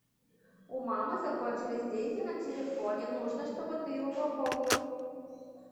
у мамы закончились деньги на телефоне нужно чтобы ты его пополнил